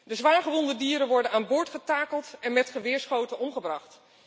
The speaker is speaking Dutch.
De zwaargewonde dieren worden aan boord getakeld en met geweerschoten omgebracht.